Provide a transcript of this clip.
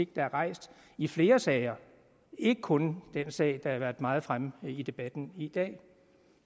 der er rejst i flere sager ikke kun den sag der har været meget fremme i debatten i dag